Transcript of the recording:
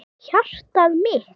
Hjartað mitt